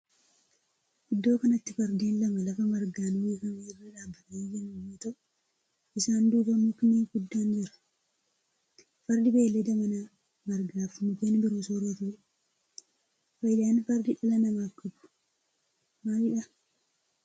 Iddoo kanatti fardeen lama lafa margaan uwwifame irra dhaabbatanii jiran yoo ta'u isaan duuba mukni guddaan jira. Fardi beellada manaa margaa fi mukken biroo sooratudha. Faayidaan fardi dhala namaaf qabu maalidha?